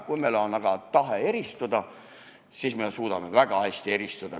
Kui meil on aga tahe eristuda, siis me suudame ka väga hästi eristuda.